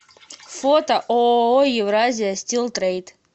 фото ооо евразия стил трейд